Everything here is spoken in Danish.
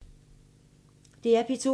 DR P2